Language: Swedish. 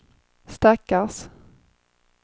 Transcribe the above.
stackars